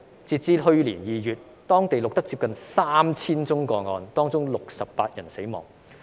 直至去年2月，當地錄得接近 3,000 宗個案，當中68人死亡。